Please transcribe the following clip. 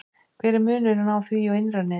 hver er munurinn á því og innra neti